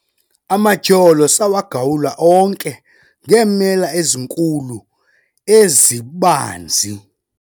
amatyholo sawagawula onke ngeemela ezinkulu ezibanzi